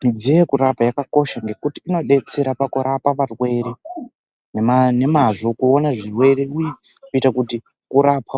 Midziyo yekurapa yakakosha nekuti inobetsera kurapa arwere nemazvo kuona zvirwere kuita kut kurapa